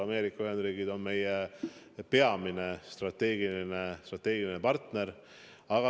Ameerika Ühendriigid on meie peamine strateegiline partner.